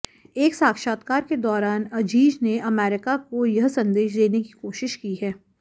एक साक्षात्कार के दौरान अजीज ने अमेरिका को यह संदेश देने की कोशिश की है